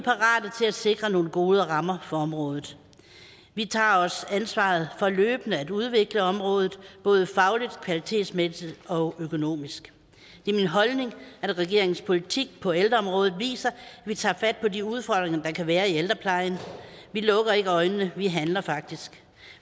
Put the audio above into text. er sikre nogle gode rammer for området vi tager også ansvaret for løbende at udvikle området både fagligt kvalitetsmæssigt og økonomisk det er min holdning at regeringens politik på ældreområdet viser at vi tager fat på de udfordringer der kan være i ældreplejen vi lukker ikke øjnene vi handler faktisk